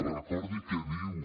recordi què diu